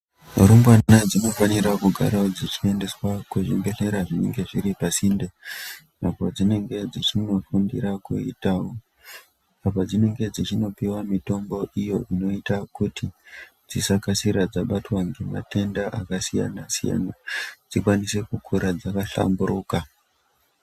Zvirumbwana dzinofanirawo kugara dzichiendeswawo pazvibhedhlera zvinenge zviri pasinde. Apo dzinenge dzichindofundira kuita, apo dzinenge dzichindopiwa mitombo iyo inoita kuti dzisakasira dzabatwa ngematenda akasiyana-siyana, dzikwanise kukura dzakahlamburuka.